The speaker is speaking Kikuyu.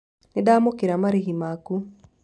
Nĩ ndamũkĩra marĩhi maku.